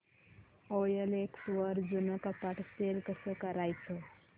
OLX वर जुनं कपाट सेल कसं करायचं